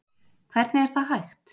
Hvernig er það hægt?